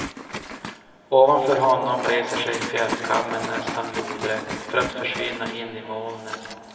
Ovanför honom reser sig fjällkammen nästan lodrätt, för att försvinna in i molnen.